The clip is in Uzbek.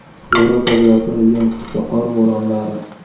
Yevropaga yopirilgan kuchli qor bo‘ronlari.